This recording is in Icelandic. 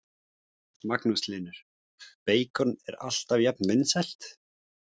Magnús Hlynur: Beikon er alltaf jafnt vinsælt?